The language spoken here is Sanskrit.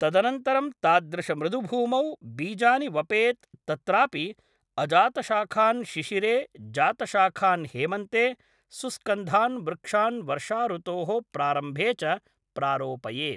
तदनन्तरं तादृशमृदुभूमौ बीजानि वपेत् तत्रापि अजातशाखान् शिशिरे जातशाखान् हेमन्ते सुस्कन्धान्‌ वृक्षान् वर्षाऋतोः प्रारम्भे च प्रारोपयेत्